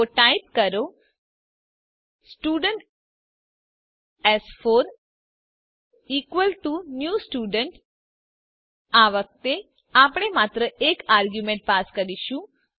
તો ટાઇપ કરો સ્ટુડન્ટ એસ4 ઇકવલ ટુ ન્યૂ સ્ટુડન્ટ આ વખતે આપણે માત્ર એક આરગ્યુમેન્ટ પાસ કરીશું